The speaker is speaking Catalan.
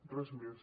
res més